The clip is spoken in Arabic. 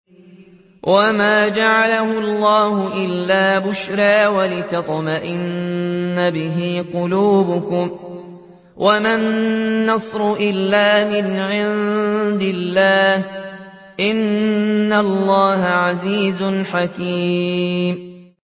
وَمَا جَعَلَهُ اللَّهُ إِلَّا بُشْرَىٰ وَلِتَطْمَئِنَّ بِهِ قُلُوبُكُمْ ۚ وَمَا النَّصْرُ إِلَّا مِنْ عِندِ اللَّهِ ۚ إِنَّ اللَّهَ عَزِيزٌ حَكِيمٌ